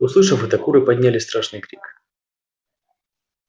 услышав это куры подняли страшный крик